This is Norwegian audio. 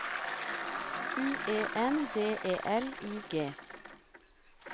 U E N D E L I G